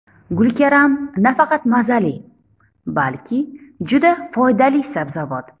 Gulkaram nafaqat mazali, balki juda foydali sabzavot.